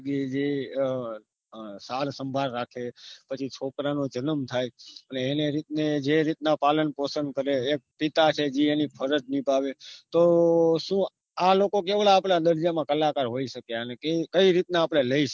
લગી જે અ સાર સંભાળ રાખે પછી છોકરાનો નો જનમ થાય છે એને રીતને જે રીતના પાલન પોસન કરે એમપિતા છે જે એની ફરજ નિભાવે તો શું આ લોકો કેવડા આપડા દર્જામાં કલાકાર હોઈ શક્યા કઈ રીતના આપને લઇસ